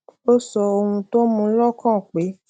ó sọ ohun tó mú u lókàn pé